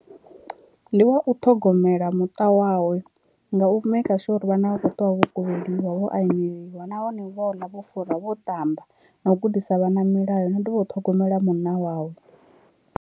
Ndi wa u ṱhogomela muṱa wawe nga u maker sure uri vhana vha khou ṱuwa vho kuvheliwa, vho aneliwa nahone vho ḽa vho fura vho ṱamba na u gudisa vhana milayo na u dovha u ṱhogomela munna wawe.